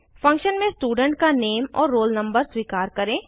function में student का name और रोल नंबर स्वीकार करें